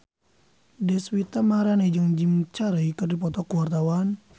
Deswita Maharani jeung Jim Carey keur dipoto ku wartawan